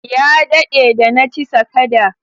Ya dade da na ci sakada.